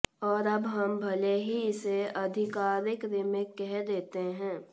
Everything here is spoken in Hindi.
और अब हम भले ही इसे आधिकारिक रीमेक कह देते हैं